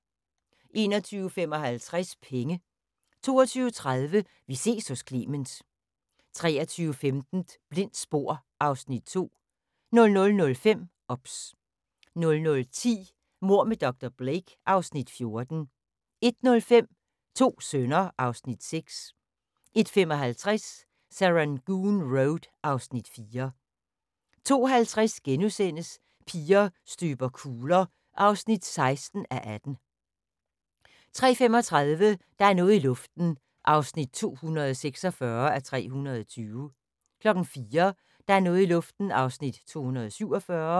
21:55: Penge 22:30: Vi ses hos Clement 23:15: Blindt spor (Afs. 2) 00:05: OBS 00:10: Mord med dr. Blake (Afs. 14) 01:05: To sønner (Afs. 6) 01:55: Serangoon Road (Afs. 4) 02:50: Piger støber kugler (16:18)* 03:35: Der er noget i luften (246:320) 04:00: Der er noget i luften (247:320)